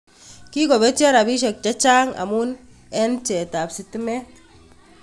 Kikopetyo rapishek chechang amun eng bcheetaab sitimeet